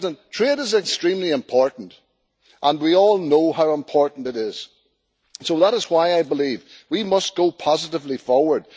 Trade is extremely important, we all know how important it is, so that is why I believe we must go positively forward.